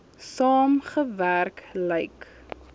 saam gewerk lyk